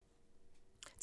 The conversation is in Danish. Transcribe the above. TV 2